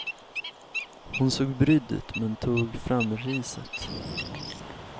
Hon såg brydd ut, men tog fram riset.